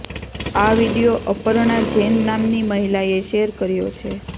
આ વીડિયો અપર્ણા જૈન નામની મહિલાએ શેર કર્યો છે